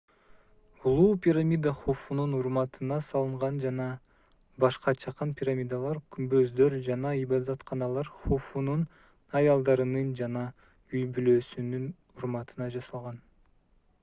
улуу пирамида хуфунун урматына салынган жана башка чакан пирамидалар күмбөздөр жана ибадатканалар хуфунун аялдарынын жана үй-бүлөсүнүн урматына жасалган